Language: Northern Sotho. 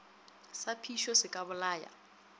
sa phišo se ka bolaya